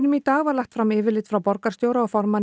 í dag var lagt fram yfirlit frá borgarstjóra og formanni